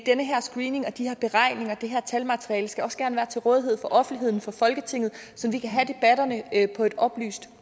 den her screening de her beregninger det her talmateriale skal også gerne være til rådighed for offentligheden for folketinget så vi kan have debatterne på et oplyst